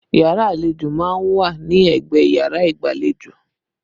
Yàrá àlejò má ń wà ní ẹgbẹ́ yàrá igbalejo